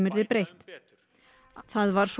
það var svo harðlega gagnrýnt